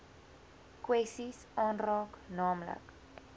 kwessies aanraak naamlik